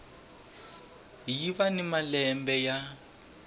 yi va ni matimba ya